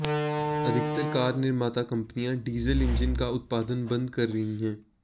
अधिकतर कार निर्माता कंपनिया डीजल इंजन का उत्पादन बंद कर रही है